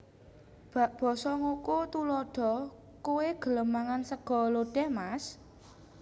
Basa NgokoTuladha Kowé gelem mangan sega lodèh mas